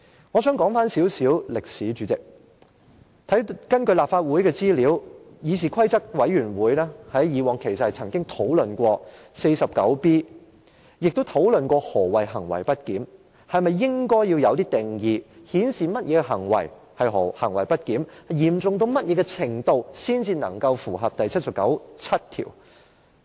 我想說一點歷史，主席，根據立法會的資料，議事規則委員會過往曾討論第 49B 條，也曾討論何謂行為不檢，是否應作出定義，界定甚麼行為是行為不檢，以及行為的嚴重程度怎樣才算是符合第七十九條第七項等問題。